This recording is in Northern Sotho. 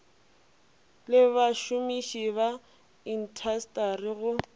le bašomiši ba intasteri go